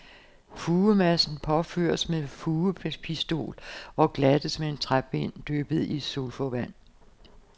Fugemassen påføres med fugepistol og glattes med en træpind, dyppet i sulfovand.